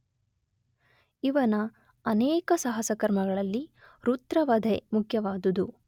ಇವನ ಅನೇಕ ಸಾಹಸಕರ್ಮಗಳಲ್ಲಿ ವೃತ್ರವಧೆ ಮುಖ್ಯವಾದುದು.